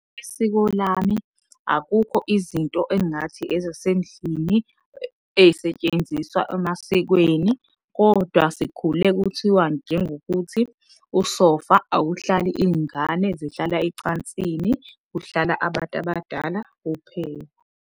Isiko lami akukho izinto engathi ezasendlini ey'setshenziswa emasikweni kodwa sikhule kuthiwa njengokuthi usofa awuhlali iy'ngane zihlala ecansini, kuhlala abantu abadala kuphela.